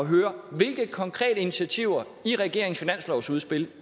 høre hvilke konkrete initiativer i regeringens finanslovsudspil